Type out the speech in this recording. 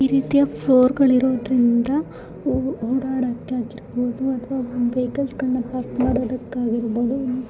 ಈ ರೀತಿಯ ಫ್ಲೋರ್ಗಳು ಇರೋದ್ರಿಂದ ಓಡಾಡಕೆ ಆಗಿರ್ಬಹುದು ಅಥವಾ ವೆಹಿಕಲ್ಸ್ ಗಳನ್ನ ಪಾರ್ಕ್ ಮಾಡೋದಕೆ ಆಗಿರ್ಬಹುದು.